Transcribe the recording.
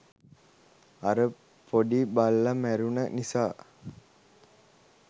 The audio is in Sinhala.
අර පොඩි බල්ල මැරුන නිසා